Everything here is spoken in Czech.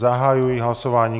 Zahajuji hlasování.